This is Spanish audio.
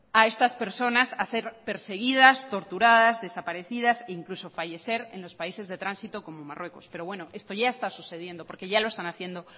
a estas personas a ser perseguidas torturadas desaparecidas e incluso fallecer en los países de tránsito como marruecos pero bueno esto ya está sucediendo porque ya lo están haciendo